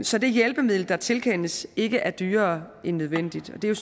så det hjælpemiddel der tilkendes ikke er dyrere end nødvendigt og det er